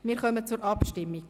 Wir kommen zur Abstimmung.